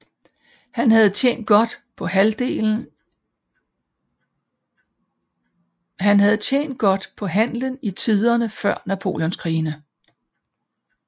Han havde tjent godt på handelen i tiderne før Napoleonskrigene